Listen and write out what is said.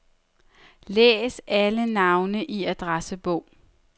Læs alle navne i adressebog.